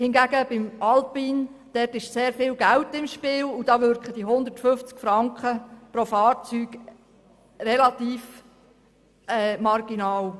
Hingegen ist beim alpinen Bereich sehr viel Geld im Spiel, und da wirken 150 Franken pro Fahrzeug relativ marginal.